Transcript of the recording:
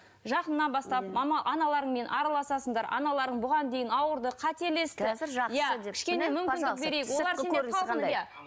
жақыннан бастап мама аналарыңмен араласасыңдар аналарың бұған дейін ауырды қателесті